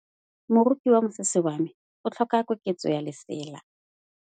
Moroki wa mosese wa me o tlhoka koketsô ya lesela.